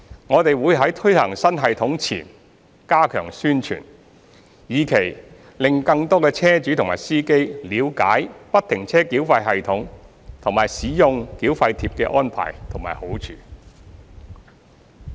我們會在推行新系統前加強宣傳，以期令更多車主和司機了解不停車繳費系統和使用繳費貼的安排和好處。